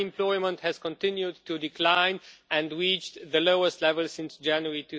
unemployment has continued to decline and has reached the lowest level since January